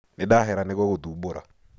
Nĩndahera nĩgũgũthumbũra.